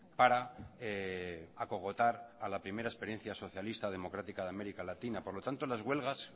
para acogotar a la primera experiencia socialista democrática de américa latina por lo tanto las huelgas